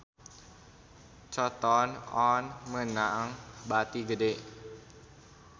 Cotton On meunang bati gede